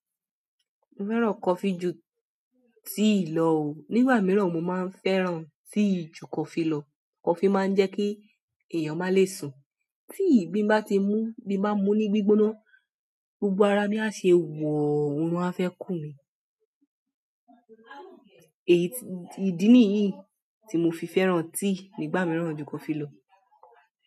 Mo fẹ́ràn coffee ju tea lọ o. Nígbà mìíràn mo máa ń fẹ́ràn tea ju kọfí lọ. Kọfí máa ń jẹ́ kí èèyàn má le sùn. Tea tí mo bá ti mú, bí mo bá mu ní gbígbóná, gbogbo ara mi á ṣe wòó, oorun á fẹ́ kùn mi. Èyí, ìdí nìyí tí mo fi fẹ́ràn tea nígbà mìíràn ju kọfí lọ.